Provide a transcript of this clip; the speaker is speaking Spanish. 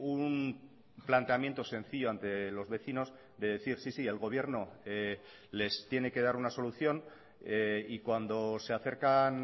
un planteamiento sencillo ante los vecinos de decir sí sí el gobierno les tiene que dar una solución y cuando se acercan